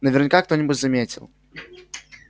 наверняка кто-нибудь заметил